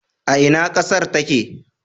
A ina ƙasar take?